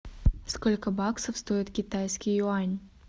сколько баксов стоит китайский юань